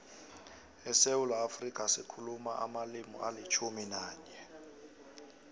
esewula afrika sikhuluma amalimi alitjhumi nanye